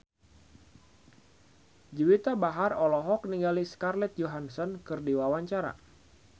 Juwita Bahar olohok ningali Scarlett Johansson keur diwawancara